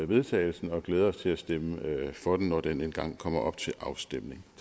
vedtagelse og glæder os til at stemme for det når det engang kommer til afstemning